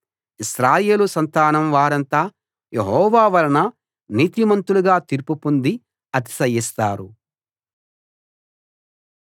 ఇశ్రాయేలు సంతానం వారంతా యెహోవా వలన నీతిమంతులుగా తీర్పు పొంది అతిశయిస్తారు